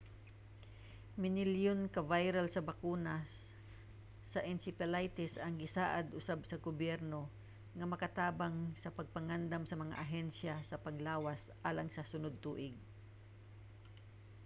minilyon ka vial sa bakuna sa encephalitis ang gisaad usab sa gobyerno nga makatabang sa pagpangandam sa mga ahensya sa panglawas alang sa sunod tuig